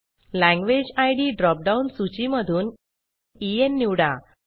language ID drop down सूची मधून EN निवडा